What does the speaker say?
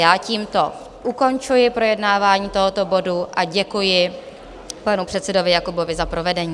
Já tímto ukončuji projednávání tohoto bodu a děkuji panu předsedovi Jakobovi za provedení.